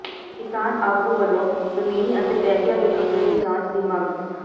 ਕਿਸਾਨ ਆਗੂ ਵਲੋਂ ਜ਼ਮੀਨੀ ਅਤੇ ਪੈਸਿਆਂ ਦੇ ਘਪਲੇ ਦੀ ਜਾਂਚ ਦੀ ਮੰਗ